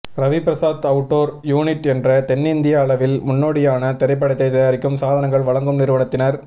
Ravi Prasad outdoor unit என்ற தென்னிந்திய அளவில் முன்னோடியான திரைப்படத் தயாரிப்பு சாதனங்கள் வழங்கும் நிறுவனத்தினர்